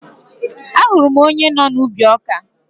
Ahụrụ m onye nọ n'ubi ọkà